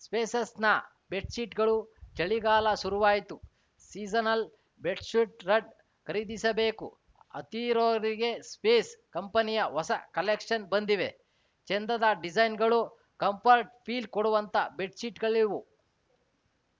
ಸ್ಪೇಸಸ್‌ನ ಬೆಡ್‌ಶೀಟ್‌ಗಳು ಚಳಿಗಾಲ ಶುರುವಾಯ್ತು ಸೀಸನಲ್‌ ಬೆಡ್‌ಶುಡ್ ರಡ್ ಖರೀದಿಸಬೇಕು ಅಂತಿರೋರಿಗೆ ಸ್ಪೇಸ್‌ ಕಂಪೆನಿಯ ಹೊಸ ಕಲೆಕ್ಷನ್‌ ಬಂದಿದೆ ಚೆಂದದ ಡಿಸೈನ್‌ಗಳು ಕಂಫರ್ಟ್‌ ಫೀಲ್‌ ಕೊಡುವಂಥ ಬೆಡ್‌ಶೀಟ್‌ಗಳಿವು